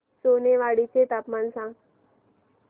सोनेवाडी चे तापमान सांग